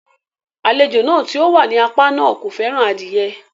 Àlejò tí ó wà ní apá náà kò fẹ́ràn adie